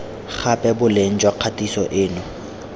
gape boleng jwa kgatiso eno